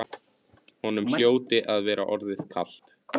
Honum hljóti að vera orðið kalt.